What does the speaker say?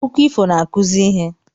Akụkọ ifo n'akụzi ihe